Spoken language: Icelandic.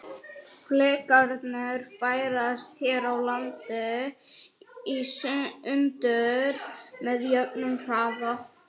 Flekarnir færast hér á landi í sundur með jöfnum hraða.